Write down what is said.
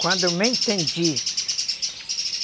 Quando eu me entendi.